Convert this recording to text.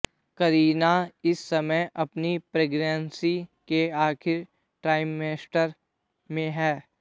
करीना इस समय अपनी प्रेगनेंसी के आखिरी ट्राईमेस्टर में हैं